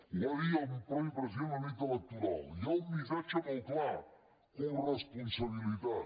ho va dir el mateix president la nit electoral hi ha un missatge molt clar coresponsabilitat